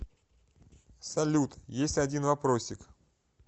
салют есть один вопросик